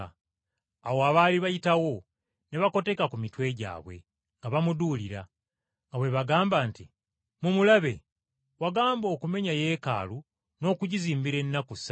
Awo abaali bayitawo, ne bakoteka ku mitwe gyabwe nga bamuduulira, nga bwe bagamba nti, “Mumulaba! Wagamba okumenya Yeekaalu n’okugizimbira ennaku ssatu,